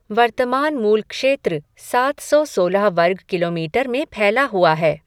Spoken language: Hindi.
वर्तमान मूल क्षेत्र सात सौ सोलह वर्ग किलोमीटर में फैला हुआ है।